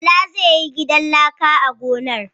Bala zai yi gidan laka a gonar.